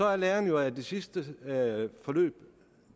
er læren jo af det sidste forløb at